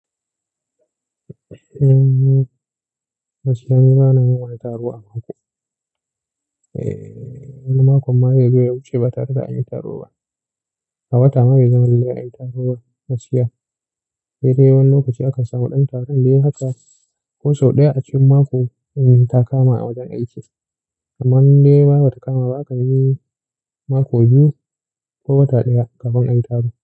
Gaksiya ni bana yi tar a mako. Eh, wani mako ma yazo ya wuce ba ta haka anyi taro ba. A wata ma bai zama lallai ayi taro ba. Gaskiya dai dai wani lokaci aka samu ɗan taron dai haka, ko sau ɗaya a cikin mako ta kama a wajen aiki. Kaman dai ba ta kama ba aka yi mako biyu ko wata ɗaya ka ga wani a yi taro.